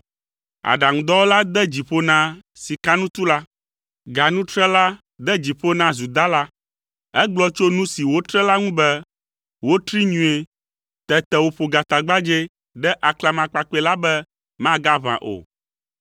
Aɖaŋudɔwɔla de dzi ƒo na sikanutula, ganutrela de dzi ƒo na zudala. Egblɔ tso nu si wotre la ŋu be, “Wotree nyuie.” Tete wòƒo gatagbadzɛ ɖe aklamakpakpɛ la be magaʋã o.